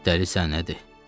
Dəlisən, nədir?